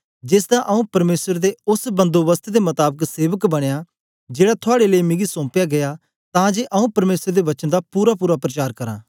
जेसदा आऊँ परमेसर दे ओस बंधोबस्त दे मताबक सेवक बनया जेड़ा थुआड़े लेई मिगी सौम्पया गीया तां जे आऊँ परमेसर दे वचन दा पूरापूरा प्रचार करां